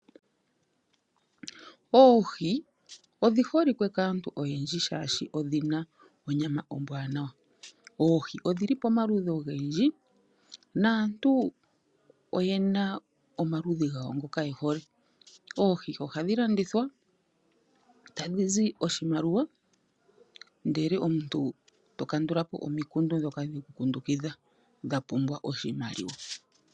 Oohi odhiholike kaantu oyendji shaashi odhina onyama ombwanawa. Oohi odhili po maludhi ogendji naantu oyena omaludhi gawo ngoka yehole . Oohi ohadhi landithwa tadhizi oshimaliwa ndele omuntu tokandulapo omikundu ndhoka dheku kundukidha dhapumbwa oshimaliwa.